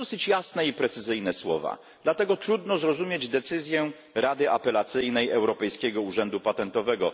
To dosyć jasne i precyzyjne słowa, dlatego trudno zrozumieć decyzję Rady Apelacyjnej Europejskiego Urzędu Patentowego.